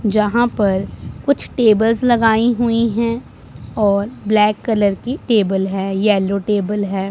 यहां पर कुछ टेबल्स लगाई हुई हैं और ब्लैक कलर की टेबल है येलो टेबल है।